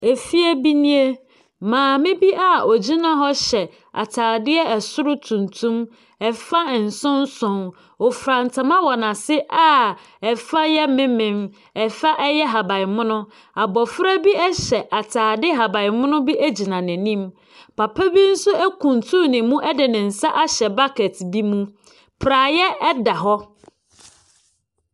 Efie nie. Maame bi a ɔgyina hɔ hyɛ atadeɛ soro tuntum, fam nson nson. Ɔfura ntoma wɔ n'ase a fa yɛ memen, fa yɛ ahaban mono. Abɔfra bi yɛ atade haban mono bi gyina n'anim. Papa bi nso akutunu ne mu de ne nsa ahyɛ bucket bi mu. Praseɛ da hɔ.